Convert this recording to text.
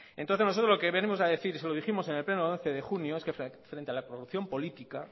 que bueno entonces nosotros lo que venimos a decir y se lo dijimos en el pleno de once de junio es que la corrupción política